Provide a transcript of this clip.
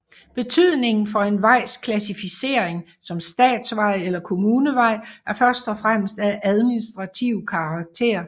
Betydningen for en vejs klassificering som statsvej eller kommunevej er først og fremmest af administrativ karakter